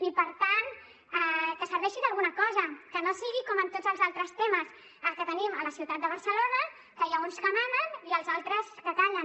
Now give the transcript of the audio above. i per tant que serveixi d’alguna cosa que no sigui com en tots els altres temes que tenim a la ciutat de barcelona que n’hi ha uns que manen i els altres que callen